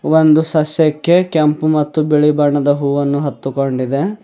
ಈ ಒಂದು ಸಸ್ಯಕ್ಕೆ ಕೆಂಪು ಮತ್ತು ಬಿಳಿ ಬಣ್ಣದ ಹೂವುವನ್ನು ಹತ್ತುಕೊಂಡಿದೆ.